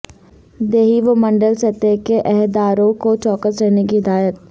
دیہی و منڈل سطح کے عہداروں کو چوکس رہنے کی ہدایت